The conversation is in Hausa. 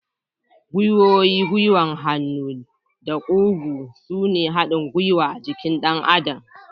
Gwiwoyi, gwiwar hannu da kugu sune haɗin gwiwa a jikin ɗan adam.